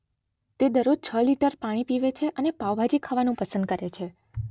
તે દરરોજ છ લિટર પાણી પીવે છે અને પાઉં-ભાજી ખાવાનું પસંદ કરે છે.